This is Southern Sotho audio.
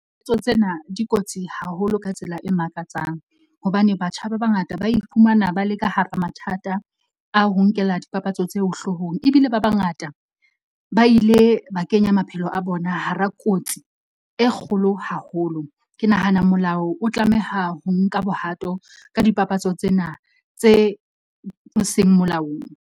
Tsena di kotsi haholo ka tsela e makatsang hobane batjha ba bangata ba iphumana ba le ka hara mathata a ho nkela dipapatso tseo hloohong. Ebile ba bangata ba ile ba kenya maphelo a bona hara kotsi e kgolo haholo. Ke nahana molao o tlameha ho nka bohato ka dipapatso tsena tse seng molaong.